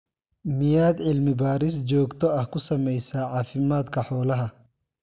Miyaad cilmi-baadhis joogto ah ku samaysaa caafimaadka xoolaha?